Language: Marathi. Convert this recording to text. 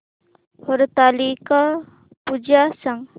हरतालिका पूजा सांग